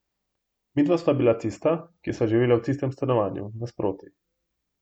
Midva sva bila tista, ki sva živela v tistem stanovanju, nasproti.